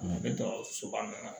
Ne bɛ dɔ soba min na